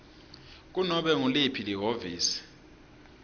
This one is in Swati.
kunobe nguliphi lihhovisi